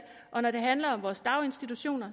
og når det handler om vores daginstitutioner